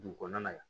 Dugu kɔnɔna na yan